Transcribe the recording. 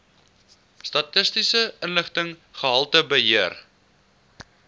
statistiese inligting gehaltebeheer